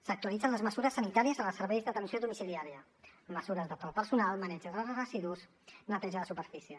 s’actualitzen les mesures sanitàries en els serveis d’atenció domiciliària mesures per al personal maneig de residus neteja de superfície